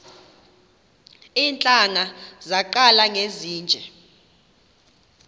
iintlanga zaqala ngezinje